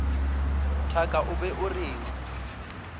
thaka o be o reng